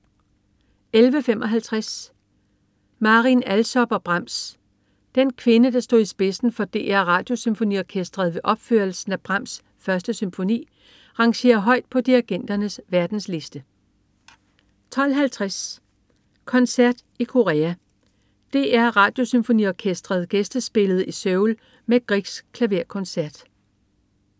11.55 Marin Alsop og Brahms. Den kvinde, der stod i spidsen for DR Radiosymfoniorkestret ved opførelsen af Brahms' 1. symfoni, rangerer højt på dirigenternes verdensliste 12.50 Koncert i Korea. DR Radiosymfoniorkestret gæstespillede i Seoul med Griegs klaverkoncert